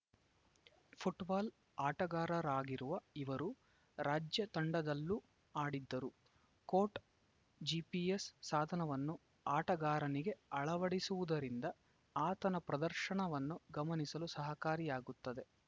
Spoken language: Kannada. ಫುಟ್ಬಾಲ್‌ ಆಟಗಾರರಾಗಿರುವ ಇವರು ರಾಜ್ಯ ತಂಡದಲ್ಲೂ ಆಡಿದ್ದರು ಕೋಟ್‌ ಜಿಪಿಎಸ್‌ ಸಾಧನವನ್ನು ಆಟಗಾರನಿಗೆ ಅಳವಡಿಸುವುದರಿಂದ ಆತನ ಪ್ರದರ್ಶನವನ್ನು ಗಮನಿಸಲು ಸಹಕಾರಿಯಾಗುತ್ತದೆ